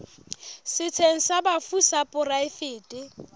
setsheng sa bafu sa poraefete